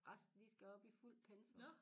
Resten de skal op i fuldt pensum